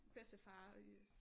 Bedstefar øh